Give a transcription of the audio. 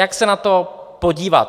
Jak se na to podívat?